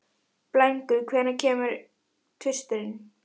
Blængur, hvenær kemur tvisturinn?